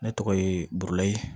Ne tɔgɔ ye burulayi